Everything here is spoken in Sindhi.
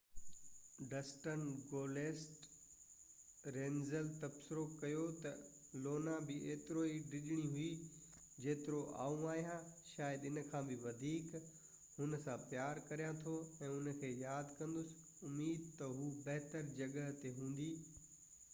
ڊسٽن گولڊسٽ رنيلز تبصرو ڪيو ته لونا به اوترو ئي ڊڄڻي هئي جيترو آئون آهيان شايد اِن کان به وڌيڪ هُن سان پيار ڪريان ٿو ۽ هن کي ياد ڪندس اميد آهي ته هُو بهتر جڳهه تي هوندي